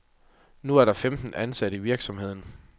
Nu er der femten ansatte i virksomheden.